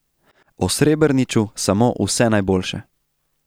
O Srebrniču samo vse najboljše.